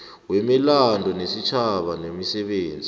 wemilando yesitjhaba nemisebenzi